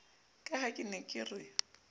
ka ha re ne re